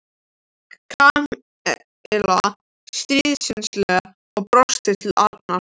Kamilla stríðnislega og brosti til Arnars.